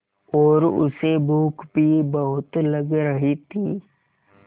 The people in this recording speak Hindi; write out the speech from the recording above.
और उसे भूख भी बहुत लग रही थी